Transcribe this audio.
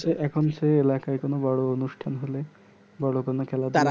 এখন সে এলাকায় বোরো অনুষ্টান হলে বড়ো কোনো খেলায়